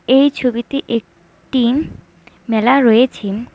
এই ছবিতে একটি মেলা রয়েছে।